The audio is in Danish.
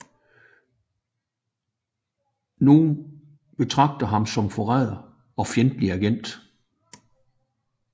Nogle betragter ham som forræder og fjendtlig agent